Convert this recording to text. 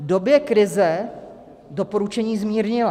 V době krize doporučení zmírnila.